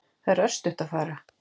Það er örstutt að fara.